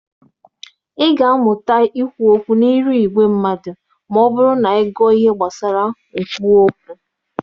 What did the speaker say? Ị ga-amụta ikwu okwu n'ịrụ ìgwè mmadụ ma ọ bụrụ na ị gụọ ihe gbasara nkwuwa okwu.